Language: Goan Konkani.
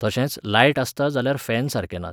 तशेंच लायट आसता जाल्यार फॅन सारके नात.